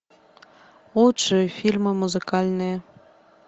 лучшие фильмы музыкальные